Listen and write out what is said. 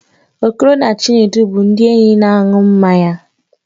Okoro na Chinedu bụ ndị enyi na-aṅụ mmanya